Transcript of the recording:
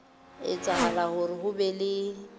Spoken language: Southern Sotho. etsahala hore ho be le